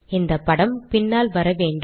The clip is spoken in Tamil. இந்தப்படம் பின்னால் வர வேண்டும்